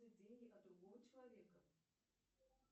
деньги от другого человека